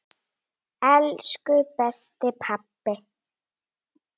Nei, þar var ekki neitt.